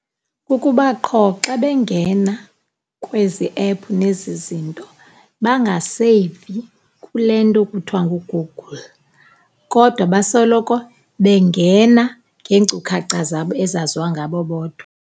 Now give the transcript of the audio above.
Kukuba qho xa bengena kwezi ephu nezi zinto bangaseyivi kule nto kuthiwa nguGoogle, kodwa basoloko bengena ngeenkcukacha zabo ezaziwa ngabo bodwa.